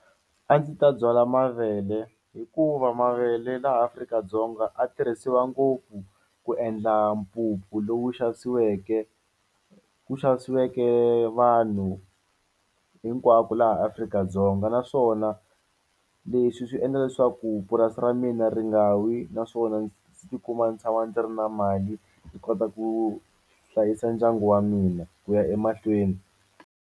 A ndzi ta byala mavele hikuva mavele laha Afrika-Dzonga a tirhisiwa ngopfu ku endla mpupu lowu xavisiweke ku xavisiweke vanhu hinkwako laha Afrika-Dzonga naswona leswi swi endla leswaku purasi ra mina ri nga wi naswona ndzi tikuma ndzi tshama ndzi ri na mali ndzi kota ku hlayisa ndyangu wa mina ku ya emahlweni.